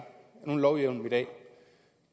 nogen lovhjemmel i dag